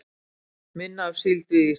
Minna af síld við Ísland